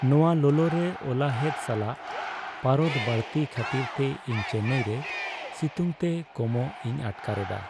ᱱᱚᱶᱟ ᱞᱚᱞᱚᱨᱮ ᱚᱞᱟᱦᱮᱫ ᱥᱟᱞᱟᱜ ᱯᱟᱨᱚᱫ ᱵᱟᱹᱲᱛᱤ ᱠᱷᱟᱹᱛᱤᱨᱛᱮ ᱤᱧ ᱪᱮᱱᱱᱟᱭ ᱨᱮ ᱥᱤᱛᱩᱝᱛᱮ ᱠᱚᱢᱚᱜ ᱤᱧ ᱟᱴᱠᱟᱨ ᱮᱫᱟ ᱾